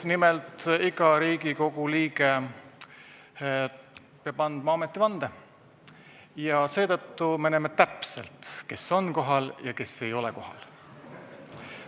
Nimelt, iga Riigikogu liige peab andma ametivande ja seetõttu me näeme täpselt, kes on ja kes ei ole kohal.